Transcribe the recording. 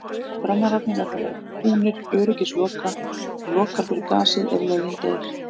Brennararnir verða að vera búnir öryggisloka sem lokar fyrir gasið ef loginn deyr.